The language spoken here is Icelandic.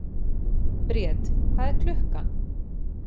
Briet, hvað er klukkan?